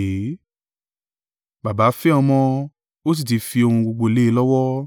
Baba fẹ́ Ọmọ, ó sì ti fi ohun gbogbo lé e lọ́wọ́.